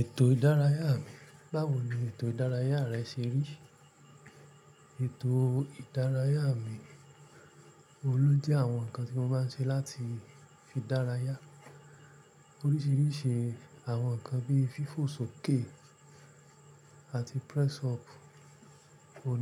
Ètò ìdárayá mi, báwo ni ètò ìdárayá rẹ ṣe rí? Ètò ìdárayá mi, òun ló jẹ́ àwọn nǹkan tí mo máa ń ṣe láti fi dárayá. Oríṣiríṣi àwọn nǹkan bí i fífò sókè àti press up